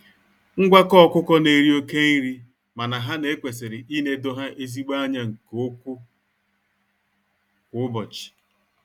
Ngwakọ ọkụkọ na-eri oke nri mana ha na ekwesiri ịnedo ha ezigbo anya nke ụkwụ kwa ụbọchị.